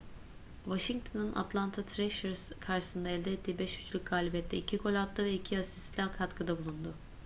washington'un atlanta thrashers karşısında elde ettiği 5-3'lük galibiyette 2 gol attı ve 2 asistle katkıda bulundu